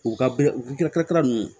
U ka u ka kalatara ninnu